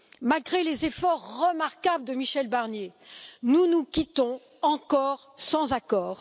Malgré les efforts remarquables de Michel Barnier nous nous quittons encore sans accord.